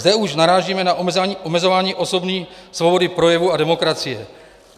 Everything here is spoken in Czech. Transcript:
Zde už narážíme na omezování osobní svobody projevu a demokracie.